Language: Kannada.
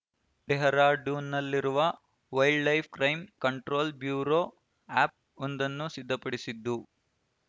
ಡೆಹ್ರಾಡೂನ್‌ನಲ್ಲಿರುವ wildlife crime control bureau app ಒಂದನ್ನು ಸಿದ್ಧಪಡಿಸಿದ್ದು